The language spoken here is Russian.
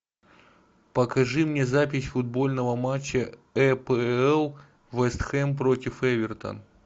покажи мне запись футбольного матча апл вест хэм против эвертон